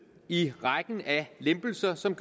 i rækken af lempelser som